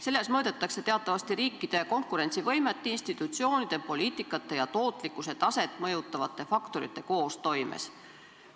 Selles mõõdetakse teatavasti riikide konkurentsivõimet institutsioonide poliitikate ja tootlikkuse taset mõjutavate faktorite koostoimes.